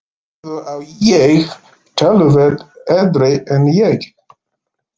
Bróður á ég, töluvert eldri en ég.